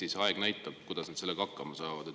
Eks aeg näitab, kuidas nad sellega hakkama saavad.